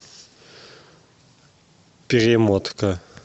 перемотка